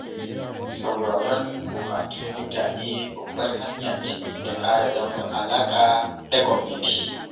Sauraron buƙatun mutane babbar hanya ce ta ƙara danƙon alaƙa da gwamnati.